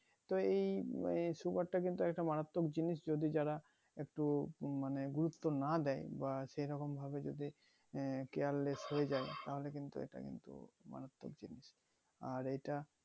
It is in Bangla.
তো এই আহ sugar টা কিন্তু একটা মারাত্মক জিনিস যদি যারা একটু মানে গুরুত্ব না দেয় সেরকম ভাবে যদি আহ careless হয়ে যাই তাহোলে কিন্তু এটা কিন্তু মারাত্মক জিনিস আর এটা